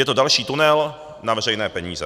Je to další tunel na veřejné peníze.